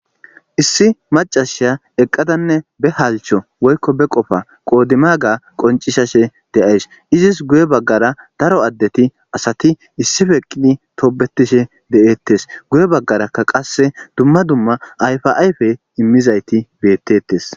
issi macashiya eqqadanne be halcho woykko be qofa qoodimaga qoncishashe de7ays izis guye baggara daro addeti asati issifeqqini toobetishe de7eettes guye baggarakka qasse dumma dumma ayfaayfe immizayti beettetes